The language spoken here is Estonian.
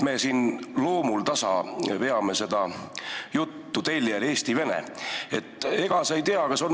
Me siin loomuldasa veame seda juttu eesti-vene teljel.